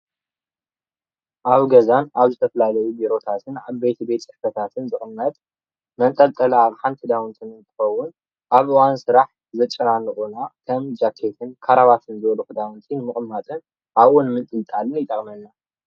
ኣብ ገዛ ኣብ ዝተፈላለዩ ዓበይቲ ቤት ፅሕፈታት ዝቅመጥ መጠንጠሊ ኣቅሓ ክዳውንቲ እንትከውን ኣብ እዋን ስራሕ ዘጨናኑቁና ጃኬት ክራባታ ኣብኡ ምስቃል ይጠቅመና፡፡